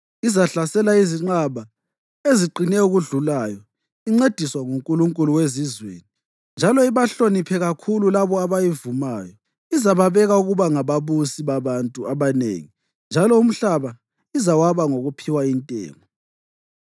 Izahlasela izinqaba eziqine okudlulayo incediswa ngunkulunkulu wezizweni njalo ibahloniphe kakhulu labo abayivumayo. Izababeka ukuba ngababusi babantu abanengi njalo umhlaba izawaba ngokuphiwa intengo.